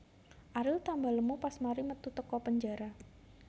Ariel tambah lemu pas mari metu teko penjara